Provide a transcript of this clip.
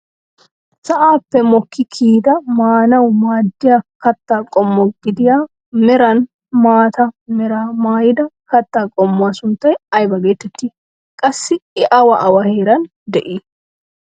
Sa'aappe mokki kiyida maanawu maaddiyaa kattaa qommo gidiya meran maata meraa maayda katta qommuwaa sunttay ayba getettii? Qassi i awa awa heeran de'ii?